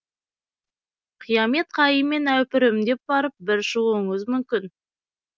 қиямет қайыммен әупірімдеп барып бір шығуыңыз мүмкін